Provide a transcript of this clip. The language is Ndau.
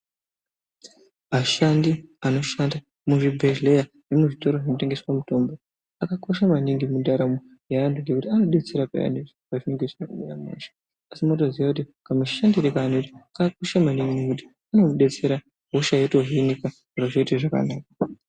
Ashandi anoshanda muzvibhehlera nemuzvitoro zvinotengeswa mitombo zvakakosha maningi mundaramo yeantu ngekuti anodetsera peyani pazvinenge zvisina kumira mushe asi unotoziya kuti kamushandire kavanoita kwakakosha maningi kuti kunodetsera hosha yotohinika zviro zvoita zvakanaka.